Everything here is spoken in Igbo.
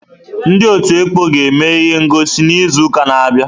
Ndị ọtú ekpọ ga-eme ihe ngọsi n'izu na-abịa.